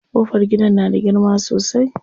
Ƙofar gidan na da girma sosai.